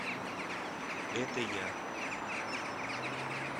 это я